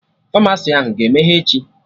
Famasi ahụ ga-emeghe echi?